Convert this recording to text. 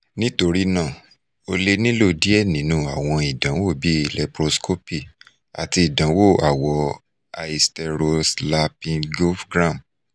nitorinaa o le nilo diẹ ninu awọn idanwo bii laproscopy ati idanwo awọ hysterosalpingogram